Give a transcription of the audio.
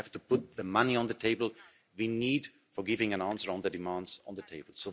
Then we have to put the money on the table we need for giving an answer on the demands on the table.